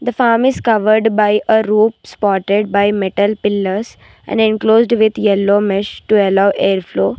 The farm is covered by a root spotted by metal pillars and enclosed with yellow mesh to allow air flow.